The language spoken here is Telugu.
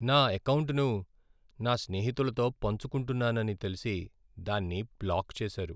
నా ఎకౌంటును నా స్నేహితులతో పంచుకుంటున్నానని తెలిసి దాన్ని బ్లాక్ చేసారు.